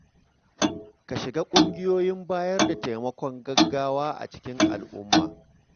Ka shiga ƙungiyoyin bayar da taimakon gaggawa a cikin al’umma.